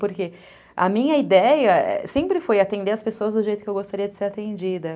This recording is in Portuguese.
Porque, a minha ideia sempre foi atender as pessoas do jeito que eu gostaria de ser atendida.